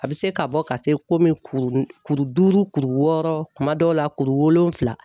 A bɛ se ka bɔ ka se komi kuru duuru kuru wɔɔrɔ kuma dɔw la kuru wolonwula